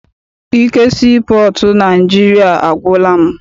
Ike sii pọọtụ Naịjirịa agwụla m.